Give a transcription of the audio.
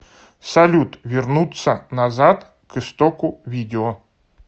салют вернуться назад к истоку видео